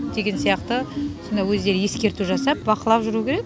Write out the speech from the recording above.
деген сияқты осындай өздері ескерту жасап бақылап жүру керек